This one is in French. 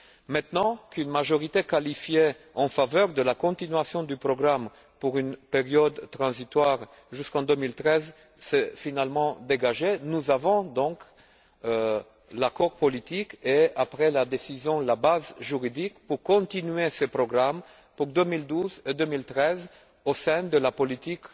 Maintenant qu'une majorité qualifiée en faveur de la poursuite du programme pour une période transitoire allant jusqu'en 2013 s'est finalement dégagée, nous disposons donc de l'accord politique et, après la décision, de la base juridique permettant de poursuivre ce programme en 2012 et 2013 au sein de la politique